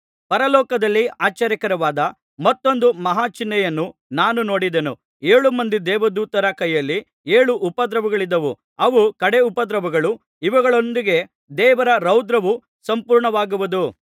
ಪರಲೋಕದಲ್ಲಿ ಆಶ್ಚರ್ಯಕರವಾದ ಮತ್ತೊಂದು ಮಹಾ ಚಿಹ್ನೆಯನ್ನು ನಾನು ನೋಡಿದೆನು ಏಳು ಮಂದಿ ದೇವದೂತರ ಕೈಯಲ್ಲಿ ಏಳು ಉಪದ್ರವಗಳಿದ್ದವು ಇವು ಕಡೇ ಉಪದ್ರವಗಳು ಇವುಗಳೊಂದಿಗೆ ದೇವರ ರೌದ್ರವು ಸಂಪೂರ್ಣವಾಗುವುದು